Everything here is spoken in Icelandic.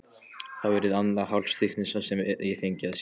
Þá yrði það annað hálfsystkinið sem ég fengi að sjá.